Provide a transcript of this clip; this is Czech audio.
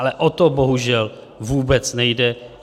Ale o to bohužel vůbec nejde.